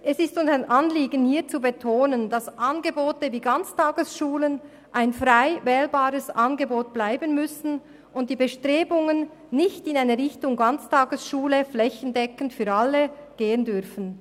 Es ist uns ein Anliegen, hier zu betonen, dass Angebote wie Ganztagesschulen ein frei wählbares Angebot bleiben müssen und die Bestrebungen nicht in Richtung «Ganztagesschule flächendeckend für alle» gehen dürfen.